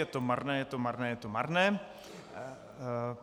Je to marné, je to marné, je to marné.